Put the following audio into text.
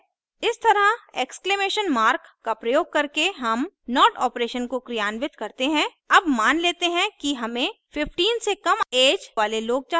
इस तरह exclamation mark का प्रयोग करके हम not operation को क्रियान्वित करते हैं अब मान लेते हैं कि हमें 15 से कम ऐज वाले लोग चाहिए